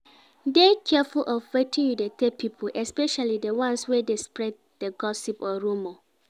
Dey careful of wetin you de tell pipo especially di ones wey de spreed di gossip or rumor